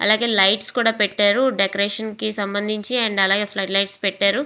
అలాగే లైట్స్ కూడా పెట్టారు డెకరేషన్ కి సంభందించి అలాగే ఫ్లడ్ లైట్స్ పెట్టారు.